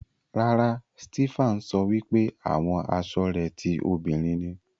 Rárá, Stephan sọ wípé àwọn asọ rẹ ti òbinrín ni.